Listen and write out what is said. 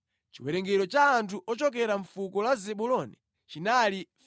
Chiwerengero cha anthu ochokera mʼfuko la Zebuloni chinali 57,400.